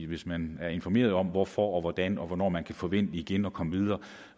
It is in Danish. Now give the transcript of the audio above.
hvis man er informeret om hvorfor hvordan og hvornår man kan forvente igen at komme videre